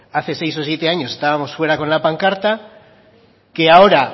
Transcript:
hace seis o siete años estábamos fuera con la pancarta que ahora